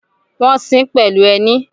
Wọ́n ṣín pẹ̀lú ẹní